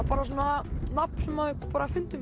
bara svona nafn sem bara fundum